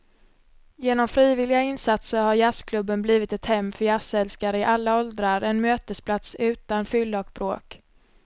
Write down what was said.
Genom frivilliga insatser har jazzklubben blivit ett hem för jazzälskare i alla åldrar, en mötesplats utan fylla och bråk.